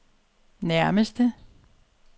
nærmeste